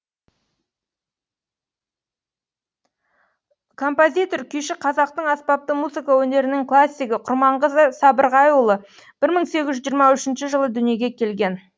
композитор күйші қазақтың аспапты музыка өнерінің классигі құрманғазы сабырғайұлы бір мың сегіз жүз жиырма үшінші жылы дүниеге келген